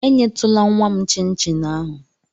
Enyetụla nnwa m chịn chin ahụ!